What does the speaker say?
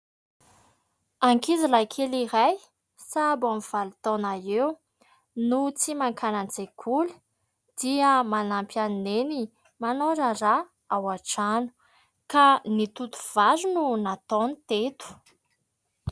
Ankizy lahy kely iray sahabo eo amin'ny valo taona eo, no tsy makany an-tsekoly. Dia manampy an'i neny manao raharaha ao an-trano, ka ny toto vary no nataony teto.